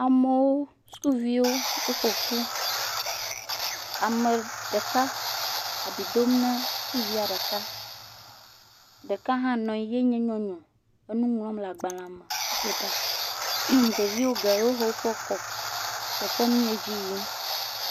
Amewo, sukuviwo woƒoƒu, ame ɖeka abi dom na sukuvia ɖeka, ɖeka hã nɔ anyi yenye nyɔnu le nu ŋlɔm ɖe agbalẽ me, eƒo ɖa. Ɖevi geɖewo hã le kpɔkpɔm nu si le edzi yim.